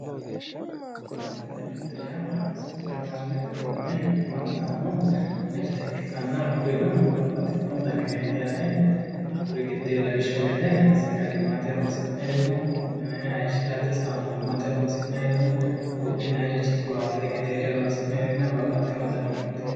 Supperimarkeetete mirte yaa supperimarkeetete mine afantanno. Hakkurino babbaxxitino danireeti yaate. Hakkuri giddoye lawishshu gede sagalimmate horoonsi'nayiri no. Hayishshirate saamunimmate horoonsi'nayiri no. Buudhinayirichi qiwaatete gedeere horoonsi'nayirinna babbaxxino dani mirte.